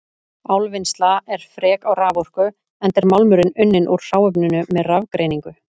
Álvinnsla er frek á raforku enda er málmurinn unninn úr hráefninu með rafgreiningu.